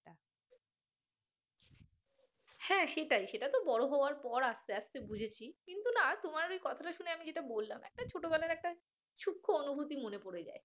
হ্যাঁ সেটাই সেটা তো বড় হওয়ার পর আস্তে আস্তে বুঝেছি কিন্তু না তোমার ওই কথাটা শুনে আমি যেটা বললাম একটা ছোটবেলার একটা সূক্ষ্ম অনুভূতি মনে পড়ে যায়